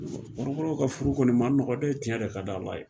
Kɔrɔbɔrɔw ka furu kɔni ma nɔgɔn dɛ ciɲɛ de ka di ala ye